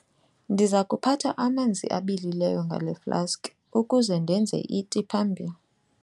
Ndiza kuphatha amanzi abilileyo ngale flaski ukuze ndenze iti phambili.